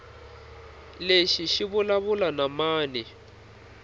lexi xi vulavula na mani